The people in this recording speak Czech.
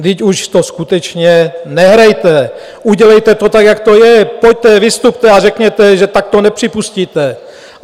Vždyť už to skutečně nehrajte, udělejte to tak, jak to je, pojďte, vystupte a řekněte, že tak to nepřipustíte!